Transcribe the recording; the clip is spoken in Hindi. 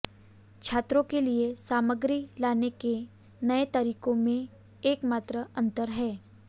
छात्रों के लिए सामग्री लाने के नए तरीकों में एकमात्र अंतर है